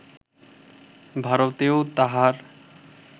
ভারতেও তাঁহার